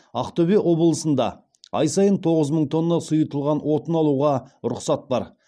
ақтөбе облысында ай сайын тоғыз мың тонна сұйытылған отын алуға рұқсат бар